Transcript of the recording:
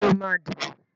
Ṣé ó máa dìbò?